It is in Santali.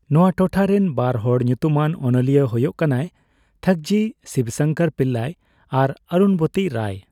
ᱱᱚᱣᱟ ᱴᱚᱴᱷᱟ ᱨᱮᱱ ᱵᱟᱨ ᱦᱚᱲ ᱧᱩᱛᱩᱢᱟᱱ ᱚᱱᱚᱞᱤᱭᱟᱹ ᱦᱳᱭᱳᱜ ᱠᱟᱱᱟᱭ ᱛᱷᱟᱠᱡᱤ ᱥᱤᱵᱥᱚᱝᱠᱚᱨ ᱯᱤᱞᱞᱟᱭ ᱟᱨ ᱚᱨᱩᱱᱵᱚᱛᱤ ᱨᱟᱭ ᱾